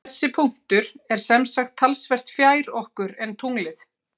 Þessi punktur er sem sagt talsvert fjær okkur en tunglið.